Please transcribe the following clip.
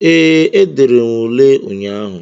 Ee, edere m ule ụnyaahụ